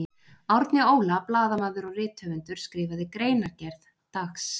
Árni Óla blaðamaður og rithöfundur skrifaði greinargerð, dags.